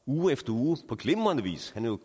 uge efter uge på glimrende vis herre